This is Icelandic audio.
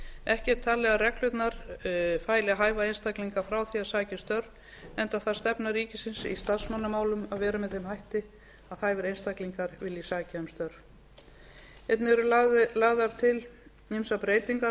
ekki er talið að reglurnar fæli hæfa einstaklinga frá því að sækja um störf enda er það stefna ríkisins í starfsmannamálum að vera með þeim hætti að hæfir einstaklinga vilji sækja um störf einnig eru lagðar til ýmsar breytingar á